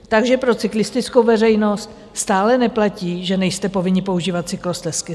Takže pro cyklistickou veřejnost stále neplatí, že nejste povinni používat cyklostezky.